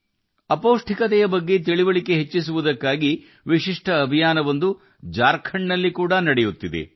ಅಪೌಷ್ಟಿಕತೆಯ ಬಗ್ಗೆ ಜಾಗೃತಿ ಮೂಡಿಸಲು ಜಾರ್ಖಂಡ್ನಲ್ಲಿ ವಿಶಿಷ್ಟ ಅಭಿಯಾನವೂ ನಡೆಯುತ್ತಿದೆ